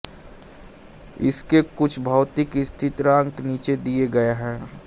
इसके कुछ भौतिक स्थिरांक नीचे दिये गये हैं